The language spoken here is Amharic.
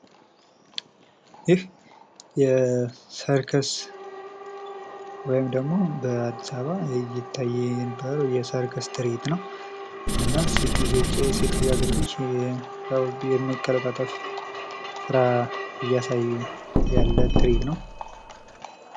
ይህ የሰርከስ ወይም ደግሞ በአዲስ አበባ ይታይ የነበረዉ የሰርከስ ትርኢት ነዉ። እና ሴት ልጃገረዶች በመቀለጣጠፍ ይታይ የነበረ ትርኢት ነዉ።